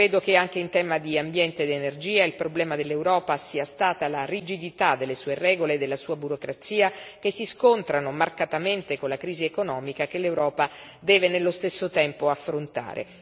Credo che anche in tema di ambiente ed energia il problema dell'Europa sia stata la rigidità delle sue regole e della sua burocrazia, che si scontrano marcatamente con la crisi economica che l'Europa deve, nello stesso tempo, affrontare.